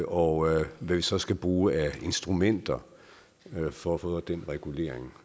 og hvad vi så skal bruge af instrumenter for at få den regulering